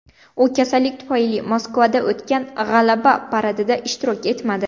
U kasallik tufayli Moskvada o‘tgan G‘alaba paradida ishtirok etmadi.